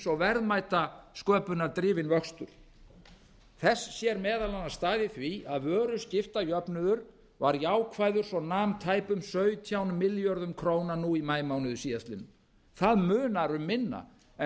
og verðmætasköpunardrifinn vöxtur þess sér meðal annars stað í því að vöruskiptajöfnuður var jákvæður svo nam tæpum sautján milljörðum króna núna í maímánuði síðastliðnum það munar um minna en